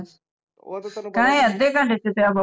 ਅੱਧੇ ਘੰਟੇ ਚ